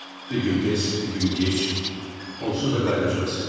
Bir gün tez, bir gün gec, onsuz da qayıdacaqsınız.